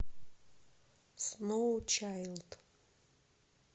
сноучайлд